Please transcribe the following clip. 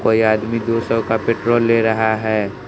कोई आदमी दो सौ का पेट्रोल ले रहा है।